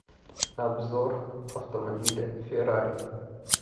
обзор автомобиля феррари